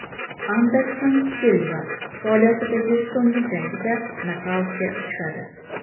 Anderson Silva faoliyatidagi so‘nggi jangida nokautga uchradi.